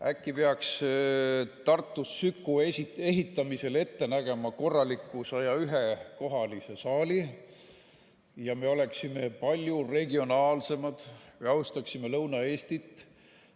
Äkki peaks Tartus Süku ehitamisel ette nägema korraliku 101‑kohalise saali ja me oleksime palju regionaalsemad või austaksime Lõuna-Eestit?